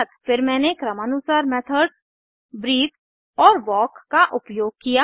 फिर मैंने क्रमानुसार मेथड्स ब्रीथ और वाल्क का उपयोग किया